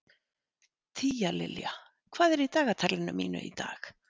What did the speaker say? Tíalilja, hvað er í dagatalinu mínu í dag?